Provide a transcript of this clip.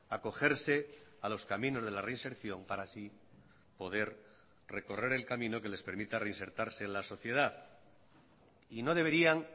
acogerse a los caminos de la reinserción para así poder recorrer el camino que les permita reinsertarse en la sociedad y no deberían